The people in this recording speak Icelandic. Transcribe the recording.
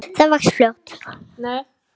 Það vex fljótt.